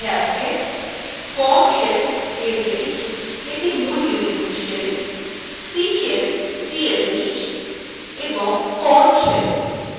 অন্যান্য shellএর মধ্যে আছে bourne shell sh যেটি মূল unix shells c shells csh এবং korn shell ksh